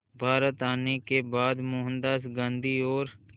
भारत आने के बाद मोहनदास गांधी और